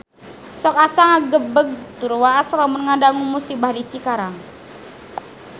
Sok asa ngagebeg tur waas lamun ngadangu musibah di Cikarang